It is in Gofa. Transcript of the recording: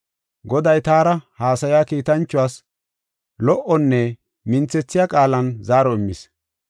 Goday taara haasaya kiitanchawas lo77onne minthethiya qaalan zaaro immis.